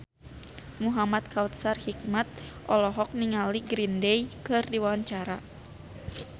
Muhamad Kautsar Hikmat olohok ningali Green Day keur diwawancara